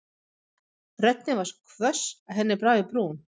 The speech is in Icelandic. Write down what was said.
Röddin var svo hvöss að henni brá í brún.